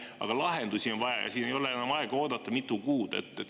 Aga lahendusi on vaja ja enam ei ole aega mitu kuud oodata.